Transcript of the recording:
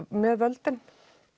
með völdin